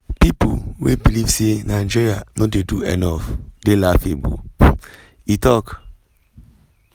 “pipo wey believe say nigeria no dey do enough dey laughable” e tok.